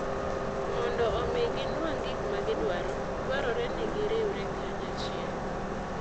Mondo omi ginwang' gik ma gidwaro, dwarore ni giriwre kanyachiel.